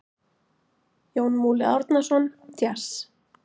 Jón Múli Árnason: Djass.